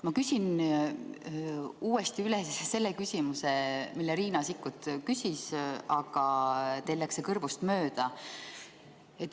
Ma küsin uuesti üle küsimuse, mille Riina Sikkut küsis, aga teil läks see kõrvust mööda.